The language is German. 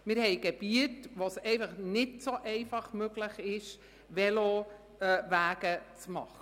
Wir haben Gebiete, wo es nicht so einfach möglich ist, Velowege zu machen.